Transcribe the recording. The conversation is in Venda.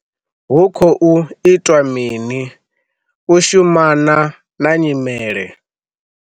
Hu khou itwa mini u shumana na nyimele?